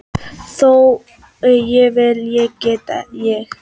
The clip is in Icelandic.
Þori ég- vil ég- get ég?